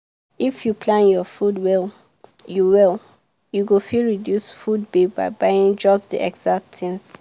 if you plan your food well you well you go fit reduce food bill by buying just the exact things.